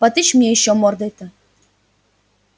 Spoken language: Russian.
потычь мне ещё мордой-то